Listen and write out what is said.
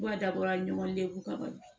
Ba dabɔra ɲɔgɔn dekun kama